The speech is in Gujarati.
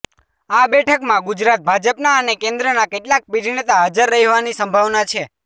આ બેઠકમાં ગુજરાત ભાજપના અને કેન્દ્રના કેટલાક પીઢનેતા હાજર રહેવાની સંભાવના છે